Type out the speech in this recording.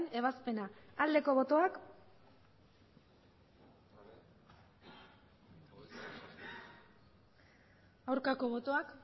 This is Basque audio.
ebazpena aldeko botoak aurkako botoak